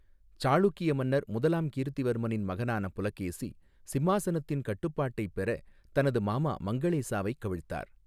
சாளுக்கிய மன்னர் முதலாம் கீர்த்திவர்மனின் மகனான புலகேசி, சிம்மாசனத்தின் கட்டுப்பாட்டை பெற தனது மாமா மங்களேசாவை கவிழ்த்தார்.